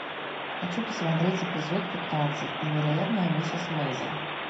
хочу посмотреть эпизод пятнадцать невероятная миссис мейзел